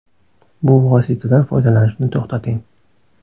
Bu vositadan foydalanishni to‘xtating.